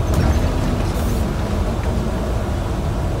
Ang’o ma nyiso ni ng’ato nigi tuwo mar wang’?